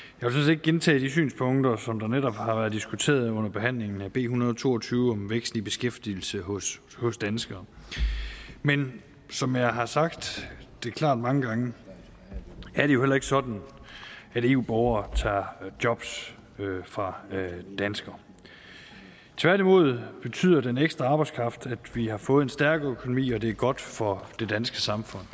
ikke gentage de synspunkter som netop har været diskuteret under behandlingen af b en hundrede og to og tyve om vækst i beskæftigelse hos hos danskere men som jeg har sagt det klart mange gange er det jo ikke sådan at eu borgere tager job fra danskere tværtimod betyder den ekstra arbejdskraft at vi har fået en stærk økonomi og det er godt for det danske samfund